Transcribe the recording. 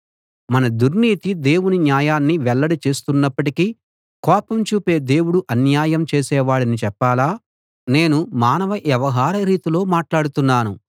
మన దుర్నీతి దేవుని న్యాయాన్ని వెల్లడి చేస్తున్నప్పటికీ కోపం చూపే దేవుడు అన్యాయం చేసేవాడని చెప్పాలా నేను మానవ వ్యవహార రీతిలో మాట్లాడుతున్నాను